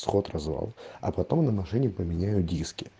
сход-развал а потом на машине поменяю диски